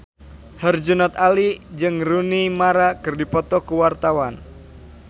Herjunot Ali jeung Rooney Mara keur dipoto ku wartawan